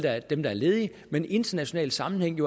dem der er ledige men i internationale sammenhænge